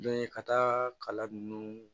Dɔn in ka taa kala nunnu